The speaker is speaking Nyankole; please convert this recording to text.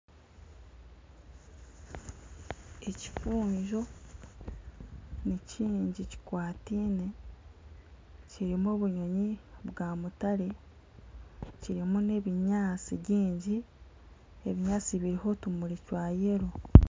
Ekifunjo ni kingi, kikwatiine, kirimu obunyonyi bwa mutare, kirimu n'ebinyaasti byingi. Ebinyaatsi biriho otumuri twa yero.